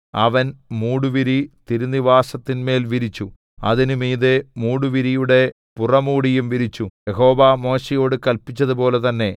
അവൻ മൂടുവിരി തിരുനിവാസത്തിന്മേൽ വിരിച്ചു അതിന് മീതെ മൂടുവിരിയുടെ പുറമൂടിയും വിരിച്ചു യഹോവ മോശെയോട് കല്പിച്ചതുപോലെ തന്നെ